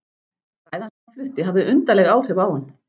Ræðan sem hann flutti hafði undarleg áhrif á hann.